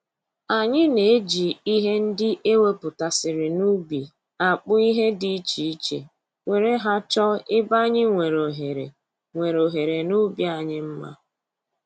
Anyị na-eji ihe ndị e wepụtasịrị n'ubi akpụ ihe dị iche iche were ha chọọ ebe anyị nwere ohere nwere ohere n'ubi anyị mma